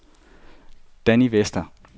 Danny Vester